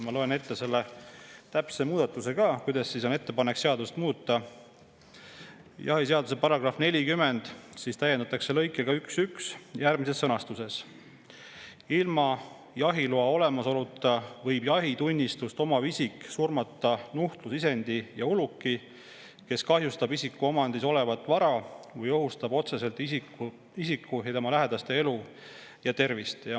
Ma loen ette selle täpse muudatuse, ettepaneku, kuidas seadust muuta: "Jahiseaduse § 40 täiendatakse lõikega 11 järgmises sõnastuses: " Ilma jahiloa olemasoluta võib jahitunnistust omav isik surmata nuhtlusisendi ja uluki, kes kahjustab isiku omandis olevat vara või ohustab otseselt isiku ja tema lähedaste elu ja tervist."